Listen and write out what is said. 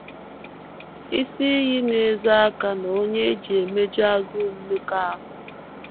“ Isi iyi, ” na - ezo aka n’onye e ji emeju agụụ mmekọahụ.